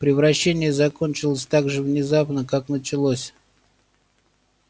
превращение закончилось так же внезапно как началось